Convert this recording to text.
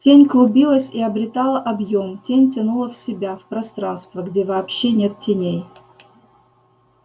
тень клубилась и обретала объём тень тянула в себя в пространство где вообще нет теней